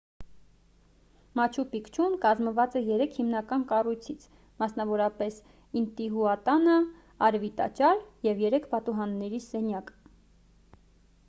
մաչու պիկչուն կազմված է երեք հիմնական կառույցից մասնավորապես ինտիհուատանա արևի տաճար և երեք պատուհանների սենյակ